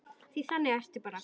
Því þannig ertu bara.